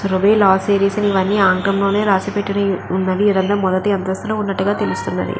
లా series అని ఆంగ్లం లోనే రాసిపెట్టి ఉన్నవి. ఏదైనా మొదటి అంతస్థులో ఉన్నట్టుగా తెలుస్తున్నది.